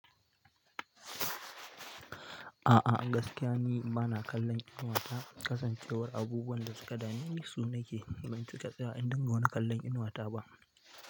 A'a, gaskiya ni bana kallon inuwata. Kasancewar abubuwan da suka dameni, su nake yi ban cika tsaya in dinga wani kallon inuwata ba.